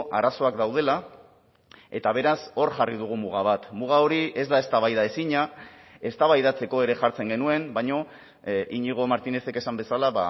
arazoak daudela eta beraz hor jarri dugu muga bat muga hori ez da eztabaidaezina eztabaidatzeko ere jartzen genuen baina iñigo martínezek esan bezala